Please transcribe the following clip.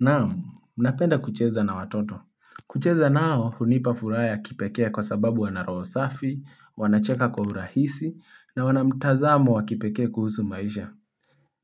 Naam, napenda kucheza na watoto. Kucheza nao, hunipa furaha ya kipekee kwa sababu wana roho safi, wanacheka kwa urahisi, na wana mtazamo wa kipekee kuhusu maisha.